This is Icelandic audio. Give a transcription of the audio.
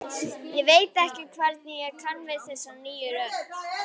Ég veit ekki hvernig ég kann við þessa nýju rödd.